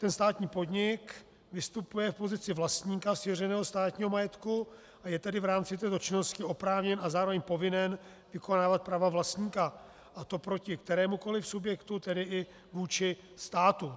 Ten státní podnik vystupuje v pozici vlastníka svěřeného státního majetku, a je tedy v rámci této činnosti oprávněn a zároveň povinen vykonávat práva vlastníka, a to proti kterémukoli subjektu, tedy i vůči státu.